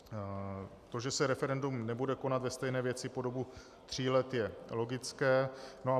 To, že se referendum nebude konat ve stejné věci po dobu tří let, je logické.